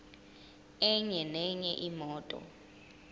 enye nenye imoto